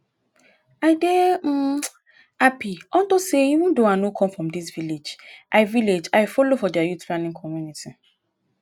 i dey um happy unto say even though i no come from dis village i village i follow for their youth planning committee